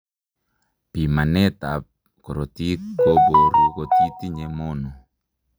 Pimanet ab korotiik koboruu kotitinye mono